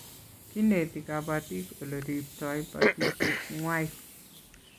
Kineti kabatik ole rptoi batishet ngwai